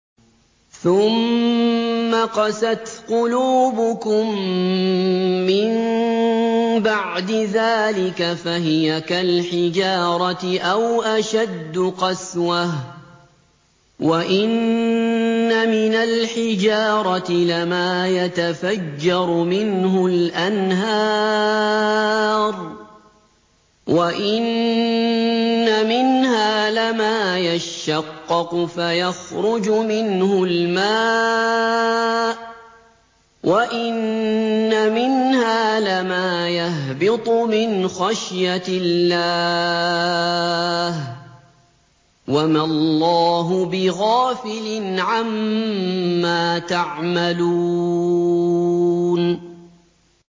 ثُمَّ قَسَتْ قُلُوبُكُم مِّن بَعْدِ ذَٰلِكَ فَهِيَ كَالْحِجَارَةِ أَوْ أَشَدُّ قَسْوَةً ۚ وَإِنَّ مِنَ الْحِجَارَةِ لَمَا يَتَفَجَّرُ مِنْهُ الْأَنْهَارُ ۚ وَإِنَّ مِنْهَا لَمَا يَشَّقَّقُ فَيَخْرُجُ مِنْهُ الْمَاءُ ۚ وَإِنَّ مِنْهَا لَمَا يَهْبِطُ مِنْ خَشْيَةِ اللَّهِ ۗ وَمَا اللَّهُ بِغَافِلٍ عَمَّا تَعْمَلُونَ